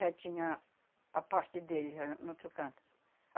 já tinha a parte dele, já no outro canto.